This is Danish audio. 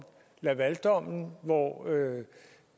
lavaldommen hvor